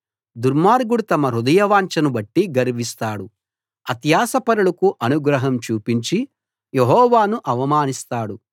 దుర్మార్గుడు తమ హృదయవాంఛను బట్టి గర్విస్తాడు అత్యాశాపరులకు అనుగ్రహం చూపించి యెహోవాను అవమానిస్తాడు